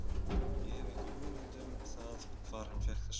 Ég hef ekki hugmynd um það hvar hann fékk þessa hugmynd.